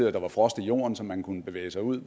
at der var frost i jorden så man kunne bevæge sig ud